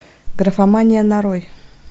графомания нарой